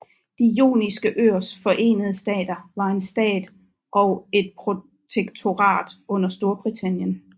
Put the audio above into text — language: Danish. De Joniske Øers Forenede Stater var en stat og et protektorat under Storbritannien